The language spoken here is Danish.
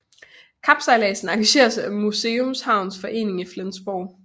Kapsejladsen arrangeres af Museumshavns forening i Flensborg